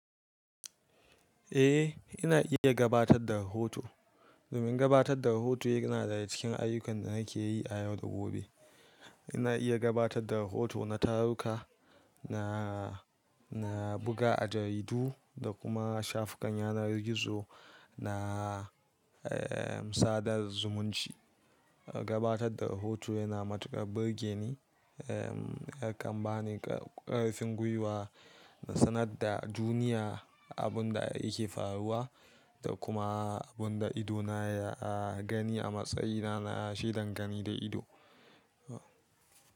Eh, ina iya gabatar da rahoto. Domin gabatar da rahoto yana daga cikin ayyukan da nake yi a yau da gobe. Ina iya gabatar da rahoto na taruka, na, na buga a jaridu da kuma shafukan yanar gizo, na, eh, sadar zumunci. Gabatar da rahoto yana matukar burge ni, eh, yakan bani kar-ƙarfin gwiwa na sanar da duniya abin da yake faruwa da kuma abin da idona ya gani a matsayina na shaidan gani da ido.